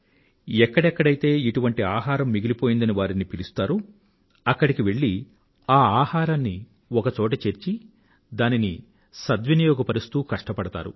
ఎక్కడెక్కడైతే ఇటువంటి ఆహారం మిగిలిపోయిందని వారిని పిలుస్తారో అక్కడికి వెళ్ళి ఆ ఆహారాన్ని ఒక చోట చేర్చి దానిని సద్వినియోగపరుస్తూ కష్టపడతారు